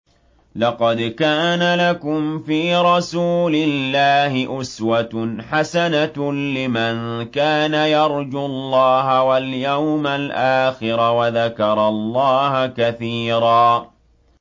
لَّقَدْ كَانَ لَكُمْ فِي رَسُولِ اللَّهِ أُسْوَةٌ حَسَنَةٌ لِّمَن كَانَ يَرْجُو اللَّهَ وَالْيَوْمَ الْآخِرَ وَذَكَرَ اللَّهَ كَثِيرًا